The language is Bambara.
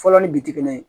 Fɔlɔ ni bitigi ye